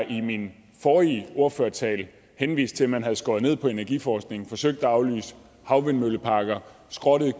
i min forrige ordførertale henviste at man havde skåret ned på energiforskningen forsøgt at aflyse havvindmølleparker skrottet